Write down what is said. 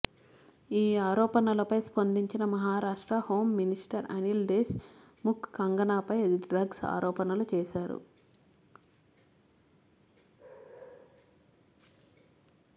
ఈ ఆరోపణలపై స్పందించిన Maharashtra home minister Anil Deshmukh కంగనాపై డ్రగ్స్ ఆరోణపణలు చేశారు